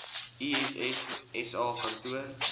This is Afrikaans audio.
iss sa kantoor